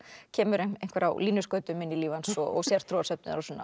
kemur einhver á línuskautum inn í líf hans og sértrúarsöfnuður og svona